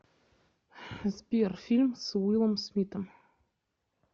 сбер фильм с уилом смитом